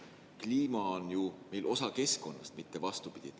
Kliima on ju meil osa keskkonnast, mitte vastupidi.